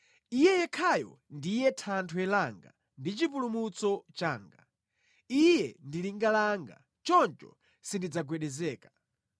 Iye yekhayo ndiye thanthwe langa ndi chipulumutso changa; Iye ndi linga langa, choncho sindidzagwedezeka.